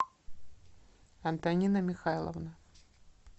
антонина михайловна